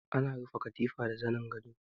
Ana rufe katifa da zanin gado.